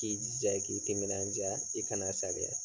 K'i jija i k'i timinanja i kana saliya.